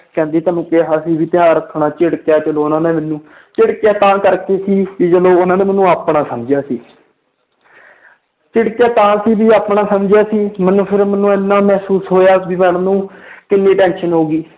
ਕਹਿੰਦੀ ਤੈਨੂੰ ਕਿਹਾ ਸੀ ਵੀ ਧਿਆਨ ਰੱਖਣਾ ਝਿੜਕਿਆ ਚਲੋ ਉਹਨਾਂ ਨੇ ਮੈਨੂੰ ਝਿੜਕਿਆ ਤਾਂ ਕਰਕੇ ਸੀ ਵੀ ਚਲੋ ਉਹਨਾਂ ਨੇ ਮੈਨੂੰ ਆਪਣਾ ਸਮਝਿਆ ਸੀ ਝਿੜਕਿਆ ਤਾਂ ਸੀ ਵੀ ਆਪਣਾ ਸਮਝਿਆ ਸੀ ਮੈਨੂੰ ਫਿਰ ਮੈਨੂੰ ਇੰਨਾ ਮਹਿਸੂਸ ਹੋਇਆ ਵੀ madam ਨੂੰ ਕਿੰਨੀ tension ਹੋ ਗਈ।